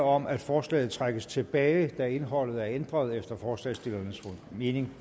om at forslaget trækkes tilbage da indholdet er ændret fundamentalt efter forslagsstillernes mening